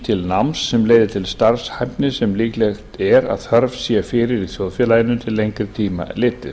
til náms sem leiði til starfshæfni sem líklegt er að þörf sé fyrir í þjóðfélaginu til lengri tíma litið